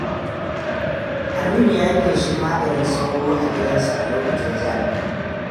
Aminu ya yi feshin maganin sauro a gidansa a lokacin zafi.